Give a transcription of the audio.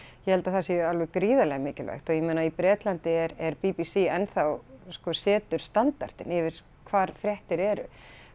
ég held að það sé alveg gríðarlega mikilvægt og ég meina í Bretlandi er b b c enn þá sko setur standardinn yfir hvar fréttir eru